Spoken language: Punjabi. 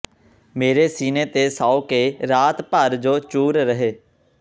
ਮੇਰੇ ਸੀਨੇ ਤੇ ਸੌਂ ਕੇ ਰਾਤ ਭਰ ਜੋ ਚੂਰ ਰਹੇ